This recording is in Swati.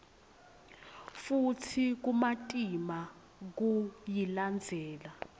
futsi kumatima kuyilandzela